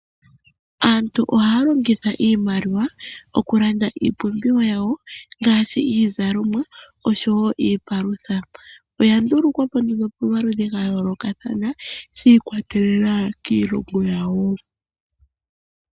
Aantu ohaya longitha iimaliwa okulanda iipumbiwa yawo ngaashi, iizalomwa osho wo iipalutha. Iyandulukwa po pomaludhi gayolokathana shiikwatelela kiilongo yawo.